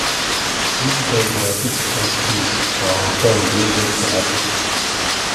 visitors dey happy to catch fish for our pond wey get tilapia